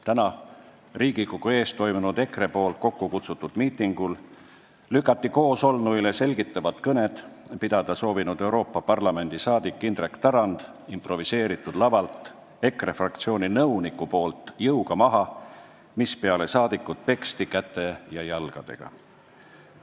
Täna Riigikogu ees toimunud EKRE kokkukutsutud miitingul lükkas EKRE fraktsiooni nõunik koosolnuile selgitavat kõnet pidada soovinud Euroopa Parlamendi liikme Indrek Tarandi improviseeritud lavalt jõuga maha, mispeale peksti saadikut käte ja jalgadega.